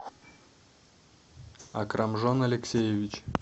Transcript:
акрамжон алексеевич